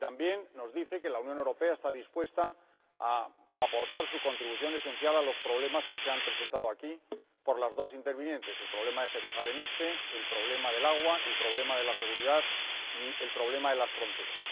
También nos dice que la Unión Europea está dispuesta a aportar su contribución esencial a los problemas que las dos intervinientes han presentado aquí el problema de Jerusalén Este, el problema del agua, el problema de la seguridad y el problema de las fronteras.